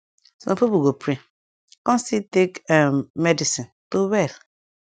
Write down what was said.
sum pipu go pray kon still take um medicine to well